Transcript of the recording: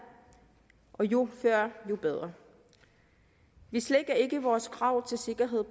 og jo før jo bedre vi slækker ikke på vores krav til sikkerhed